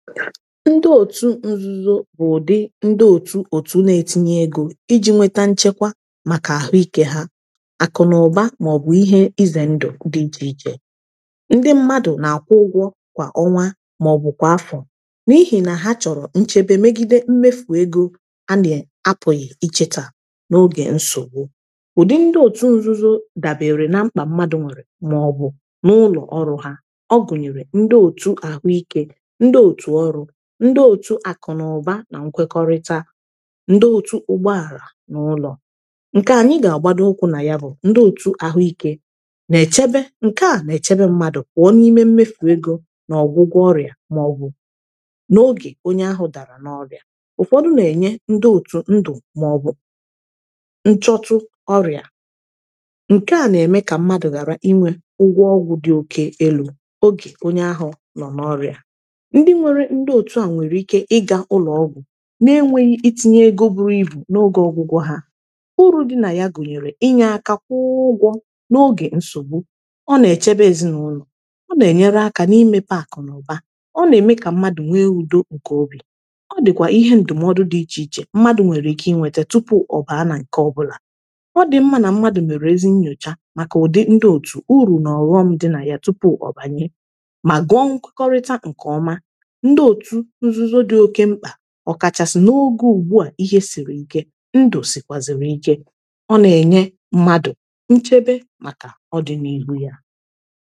ndị otu nzuzo bụ ụdị ndị otu na-etinye ego iji nweta nchekwa maka ahụike ha akụ na ụba maọbụ ihe ize ndụ dịjịije ndị mmadụ na-akwụ ụgwọ kwa ọnwa maọbụ kwa afọ n’ihi na ha chọrọ nchebe megide mmefu ego a na-apụghị iche taa n’oge nsogbu ụdị ndị otu nzuzo dabere na mkpa mmadụ nwere maọbụ n’ụlọ ọrụ ha ọ gụnyere ndị otu ahụike ndị òtu akụ na ụba na nkwekọrịta ndị òtu ụgbọala n’ụlọ ǹke anyị gà-àgbado okwu nà ya bụ ndị òtu àhụike nà-èchebe ǹke à nà-èchebe mmadụ kwà ọ n’ime mmefù egȯ n’ọgwụgwọ ọrịà màọbụ n’ogè onye ahụ dàrà n’ọrịà ụkwọdụ nà-ènye ndị òtu ndụ màọbụ nchọtụ ọrịà ǹke à nà-ème kà mmadụ̀ ghàra inwė ụgwọ ọgwụ̀ dị oke elu̇ ogè onye ahụ nọ̀ n’ọrịà ndị otu a nwere ike ịga ụlọọgwụ na-enweghị itinye ego bụrụ ibu n’oge ọgwụgwọ ha uru dị na ya gụnyere inye aka kwụọ ụgwọ n’oge nsogbu ọ na-echebe ezinụlọ ọ na-enyere aka n’imepe akụnaụba ọ na-eme ka mmadụ nwee udo nke obi ọ dịkwa ihe ndụmọdụ dị iche iche mmadụ nwere ike inwete tupu ọ bụ ana nke ọbụla ọ dị mmadụ na mmadụ mere ezinnyocha maka ụdị ndị otu uru na-ọghọm dị na ya tupu ọ banye ma gọọ nkwakọrịta nke ọma ọkachasị n’oge ugbu a ihe siri ike ndụ sị kwaziri ike ọ na-enye mmadụ nchebe maka ọdịnihu ya